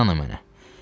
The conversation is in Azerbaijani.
İnanın mənə.